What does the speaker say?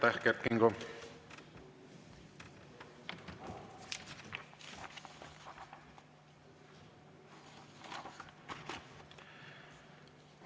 Aitäh, Kert Kingo!